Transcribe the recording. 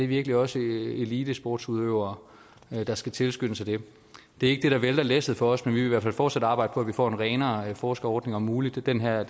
virkelig også elitesportsudøvere der skal tilskyndes af det det er ikke det der vælter læsset for os men vi vil i hvert fald fortsat arbejde for at vi får en renere forskerordning om muligt den her